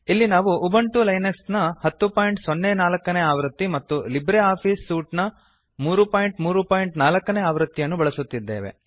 ಇಲ್ಲಿ ನಾವು Ubuntu Linux ನ 1004 ನೇ ಆವೃತ್ತಿ ಮತ್ತು ಲಿಬ್ರಿಆಫಿಸ್ ಸೂಟ್ ನ 334 ನೇ ಆವೃತ್ತಿಯನ್ನು ಅನ್ನು ಬಳಸುತ್ತಿದ್ದೇವೆ